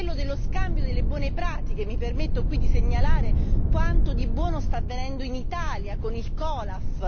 quello dello scambio delle buone pratiche, e mi permetto qui di segnalare quanto di buono sta avvenendo in Italia con il COLAF.